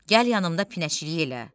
Gəl yanımda pinəçilik elə.